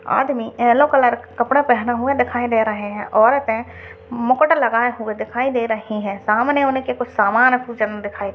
आदमी yellow colour { के कपड़े पहने हुए दिखाई दे रहे हैं। औरतें मुकुट लगाई हुए दिखाई दे रही हैं। सामने उनके कुछ समान दिखाई --}